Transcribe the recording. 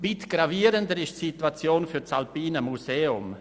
Weit gravierender ist die Situation für das Alpine Museum.